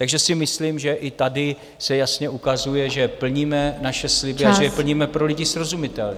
Takže si myslím, že i tady se jasně ukazuje, že plníme naše sliby... a že je plníme pro lidi srozumitelně.